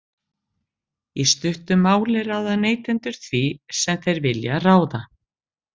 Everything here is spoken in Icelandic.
Í stuttu máli ráða neytendur því sem þeir vilja ráða.